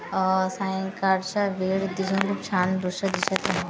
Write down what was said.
अ सायंकाळच्या वेळ तिथून खूप छान दृश्य दिसत आहे .